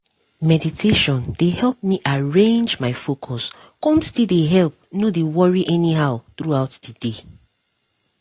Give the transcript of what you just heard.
meditation dey help me arrange my focus come still dey help no dey worry anyhow throughout the day